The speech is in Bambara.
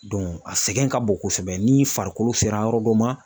a sɛgɛn ka bon kosɛbɛ ni farikolo sera yɔrɔ dɔ ma.